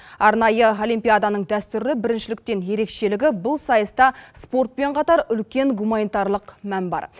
арнайы олимпиаданың дәстүрлі біріншіліктен ерекшелігі бұл сайыста спортпен қатар үлкен гуманитарлық мән бар